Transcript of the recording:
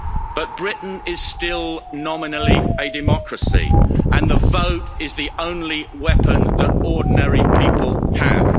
But Britain is still nominally a democracy, and the vote is the only weapon that ordinary people have.